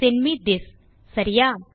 send me this சரியா